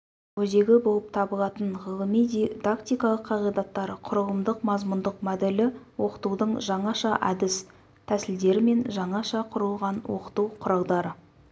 өзегі болып табылатын ғылымиди дактикалық қағидаттары құрылымдық-мазмұндық моделі оқытудың жаңаша әдіс-тәсілдері мен жаңаша құрылған оқыту құралдары